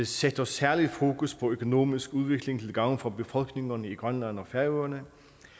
sætter særligt fokus på økonomisk udvikling til gavn for befolkningerne i grønland og færøerne